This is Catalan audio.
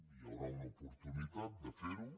hi haurà una oportunitat de fer ho